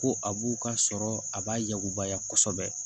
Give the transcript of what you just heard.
Ko a b'u ka sɔrɔ a b'a yakubaya kosɛbɛ